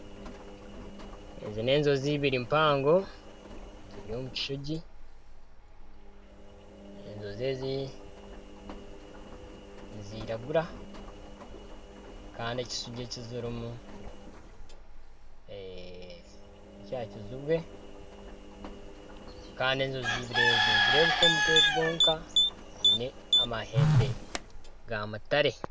Ezi n'enjojo eibiri mpango eziri omu kishuugi, enjojo ezi niziragura kandi ekishuugi eki zirimu nekya kijubwe kandi enjojo eibiri ezi nizireebeka omutwe gwonka ziine amahembe ga mutare.